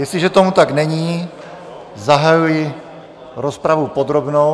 Jestliže tomu tak není, zahajuji rozpravu podrobnou.